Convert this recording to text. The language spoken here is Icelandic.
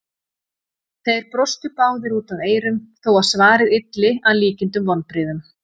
Þeir brostu báðir út að eyrum þó að svarið ylli að líkindum vonbrigðum.